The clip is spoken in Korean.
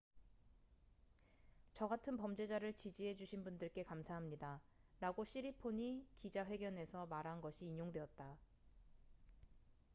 """저 같은 범죄자를 지지해 주신 분들께 감사합니다""라고 시리폰이 기자 회견에서 말한 것이 인용되었다.